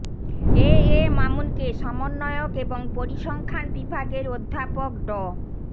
এ A মামুনকে সমন্বয়ক এবং পরিসংখ্যান বিভাগের অধ্যাপক ড